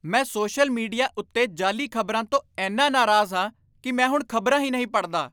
ਮੈਂ social media ਉੱਤੇ ਜਾਅਲੀ ਖ਼ਬਰਾਂ ਤੋਂ ਇੰਨਾ ਨਾਰਾਜ਼ ਹਾਂ ਕਿ ਮੈਂ ਹੁਣ ਖ਼ਬਰਾਂ ਹੀ ਨਹੀਂ ਪੜ੍ਹਦਾ।